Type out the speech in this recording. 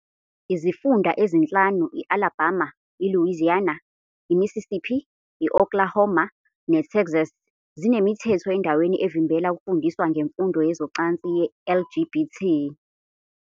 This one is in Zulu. Izifunda ezinhlanu, i-Alabama, i-Louisiana, i-Mississippi, i-Oklahoma, ne-Texas, zinemithetho endaweni evimbela ukufundiswa ngemfundo yezocansi ye-LGBT.